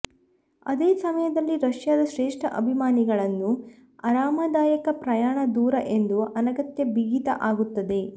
ಅದೇ ಸಮಯದಲ್ಲಿ ರಷ್ಯಾದ ಶ್ರೇಷ್ಠ ಅಭಿಮಾನಿಗಳನ್ನು ಆರಾಮದಾಯಕ ಪ್ರಯಾಣ ದೂರ ಎಂದು ಅನಗತ್ಯ ಬಿಗಿತ ಆಗುತ್ತದೆ